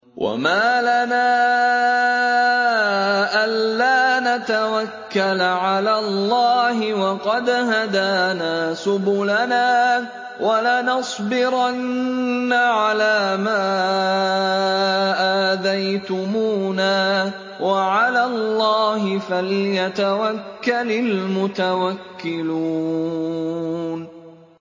وَمَا لَنَا أَلَّا نَتَوَكَّلَ عَلَى اللَّهِ وَقَدْ هَدَانَا سُبُلَنَا ۚ وَلَنَصْبِرَنَّ عَلَىٰ مَا آذَيْتُمُونَا ۚ وَعَلَى اللَّهِ فَلْيَتَوَكَّلِ الْمُتَوَكِّلُونَ